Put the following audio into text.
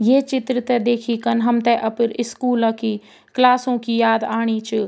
ये चित्र ते देखी कन हमथे अपर स्कूल की क्लासों की याद आणि च।